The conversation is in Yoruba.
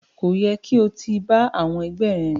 Ko yẹ ki o ti ba àwọn ẹgbẹ rìn.